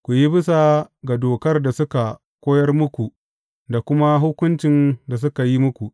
Ku yi bisa ga dokar da suka koyar muku da kuma hukuncin da suka yi muku.